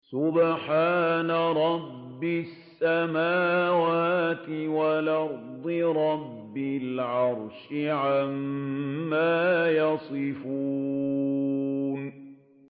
سُبْحَانَ رَبِّ السَّمَاوَاتِ وَالْأَرْضِ رَبِّ الْعَرْشِ عَمَّا يَصِفُونَ